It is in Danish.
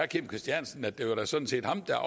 kim christiansen at det da sådan set var ham der